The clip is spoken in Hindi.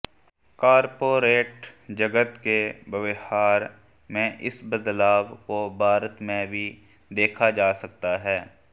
कॉर्पोरेट जगत के व्यवहार में इस बदलाव को भारत में भी देखा जा सकता है